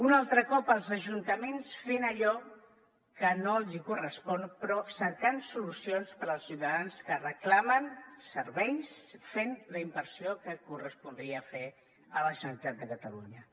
un altre cop els ajuntaments fent allò que no els correspon però cercant solucions per als ciutadans que reclamen serveis fent la inversió que correspondria fer a la generalitat de catalunya